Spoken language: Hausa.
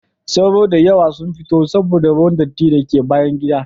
Sauro da yawa sun fito saboda ruwan datti da ke bayan gida.